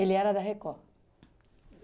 era da Record?